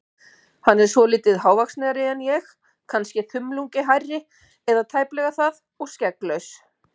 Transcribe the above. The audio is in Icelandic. Hann er svolítið hávaxnari en ég- kannske þumlungi hærri, eða tæplega það, og skegglaus.